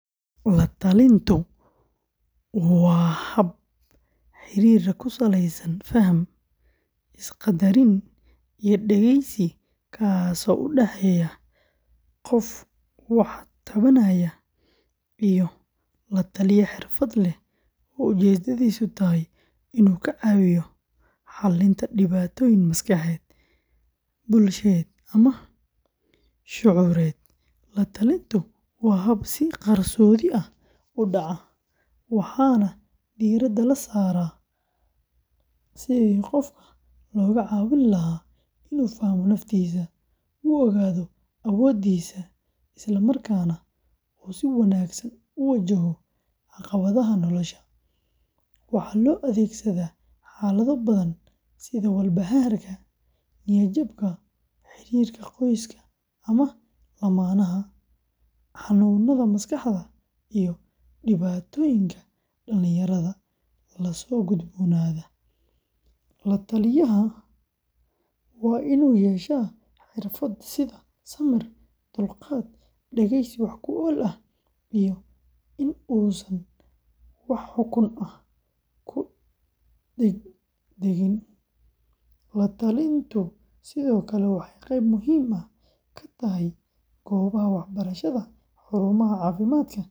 La-talintu, oo af-Ingiriis ahaan loo yaqaan counseling, waa hab xidhiidh ku saleysan faham, is-qaddarin iyo dhegeysi, kaas oo u dhexeeya qof wax tabanaya iyo la-taliye xirfad leh oo ujeedadiisu tahay inuu ka caawiyo xallinta dhibaatooyin maskaxeed, bulsheed, ama shucuureed. La-talintu waa hab si qarsoodi ah u dhaca, waxaana diiradda la saaraa sidii qofka looga caawin lahaa inuu fahmo naftiisa, u ogaado awoodihiisa, isla markaana uu si wanaagsan u wajaho caqabadaha nolosha. Waxaa loo adeegsadaa xaalado badan sida walbahaarka, niyad-jabka, xiriirka qoyska ama lammaanaha, xanuunada maskaxda, iyo dhibaatooyinka dhallinyarada la soo gudboonaada. La-taliyaha waa inuu yeeshaa xirfado sida samir, dulqaad, dhegeysi wax-ku-ool ah, iyo in uusan wax xukun ah ku degdegin. La-talintu sidoo kale waxay qayb muhiim ah ka tahay goobaha waxbarashada, xarumaha caafimaadka.